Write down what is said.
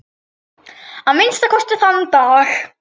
Að minnsta kosti þann dag.